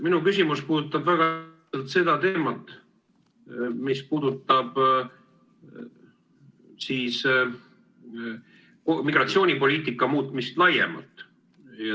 Minu küsimus puudutab teemat, mis puudutab migratsioonipoliitika muutmist laiemalt.